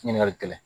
Ɲininkali kɛla